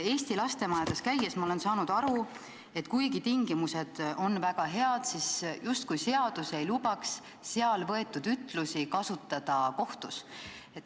Eesti lastemajades käies olen ma aru saanud aru, et kuigi tingimused on väga head, siis seadus justkui ei luba seal võetud ütlusi kohtus kasutada.